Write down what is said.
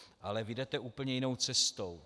Ale vy jdete úplně jinou cestou.